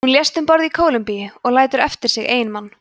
hún lést um borð í kólumbíu og lætur eftir sig eiginmann